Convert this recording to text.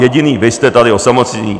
Jediní vy jste tady osamocení.